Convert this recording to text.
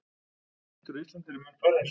Geitur á Íslandi eru mun færri en svín.